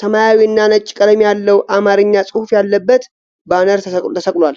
ሰማያዊና ነጭ ቀለም ያለው አማርኛ ጽሑፍ ያለበት ባነር ተሰቅሏል።